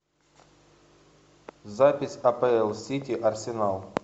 запись апл сити арсенал